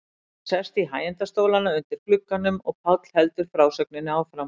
Við erum sest í hægindastólana undir glugganum og Páll heldur frásögninni áfram.